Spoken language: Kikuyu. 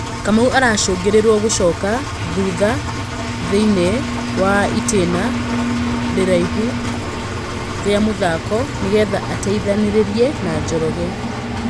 Kamau aracũngĩ rĩ irio gũcoka thutha thĩ iniĩ wa ĩ tĩ na iraihu rĩ a mũthako nĩ getha ateithanĩ rĩ rie na Njoroge.